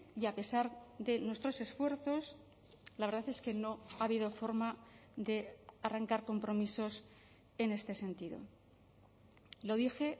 y a pesar de nuestros esfuerzos la verdad es que no ha habido forma de arrancar compromisos en este sentido lo dije